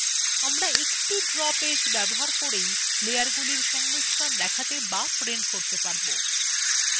আমরা একটি draw page ব্যবহার করেই লেয়ারগুলির সংমিশ্রণ দেখতে বা print করতে পারব